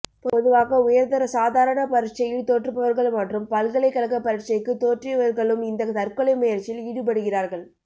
பொதுவாக உயர்தர சாதாரண பரிட்சையில் தோற்றுபவர்கள்மற்றும் பல்கலைக்கழக பரீட்சைக்கு தோற்றியவர்களும் இந்த தற்கொலை முயற்சியில் ஈடுபடுகிறார்கள்